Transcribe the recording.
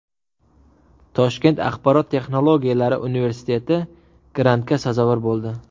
Toshkent axborot texnologiyalari universiteti grantga sazovor bo‘ldi.